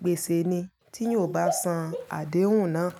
gbése ni tí eeyan o bá san àdéhùn náà.